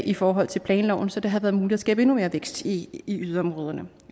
i forhold til planloven så det havde været muligt at skabe endnu mere vækst i i yderområderne